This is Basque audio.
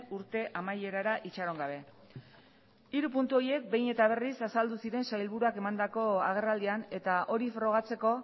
urte amaierara itxaron gabe hiru puntu horiek behin eta berriz azaldu ziren sailburuak emandako agerraldian eta hori frogatzeko